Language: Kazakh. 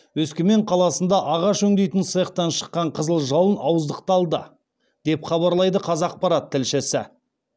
өскемен қаласында ағаш өңдейтін цехтан шыққан қызыл жалын ауыздықталды деп хабарлайды қазақпарат тілшісі